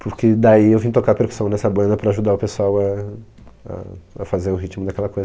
Porque daí eu vim tocar percussão nessa banda para ajudar o pessoal a a a fazer o ritmo daquela